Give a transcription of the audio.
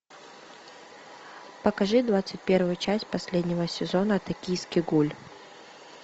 покажи двадцать первую часть последнего сезона токийский гуль